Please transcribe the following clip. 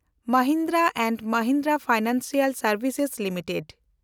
Mahindra and Mahindra financial ᱥᱮᱱᱰᱵᱷᱥᱮᱥᱥ limited